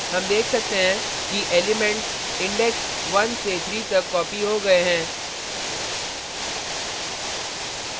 हम देख सकते हैं कि elements index 1 से 3 तक copied हो गये हैं